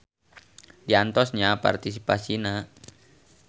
Diantos nya partisipasina.